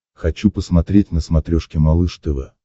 хочу посмотреть на смотрешке малыш тв